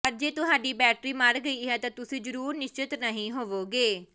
ਪਰ ਜੇ ਤੁਹਾਡੀ ਬੈਟਰੀ ਮਰ ਗਈ ਹੈ ਤਾਂ ਤੁਸੀਂ ਜ਼ਰੂਰ ਨਿਸ਼ਚਤ ਨਹੀਂ ਹੋਵੋਗੇ